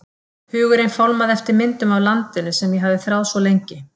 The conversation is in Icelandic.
Hugurinn fálmaði eftir myndum af landinu sem ég hafði þráð svo lengi.